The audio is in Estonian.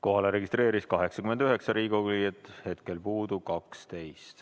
Kohale registreerus 89 Riigikogu liiget, hetkel puudub 12.